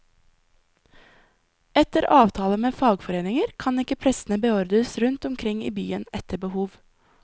Etter avtaler med fagforeninger kan ikke prestene beordres rundt omkring i byen etter behov.